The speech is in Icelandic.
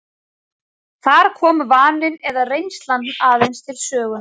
Þar komi vaninn eða reynslan aðeins til sögunnar.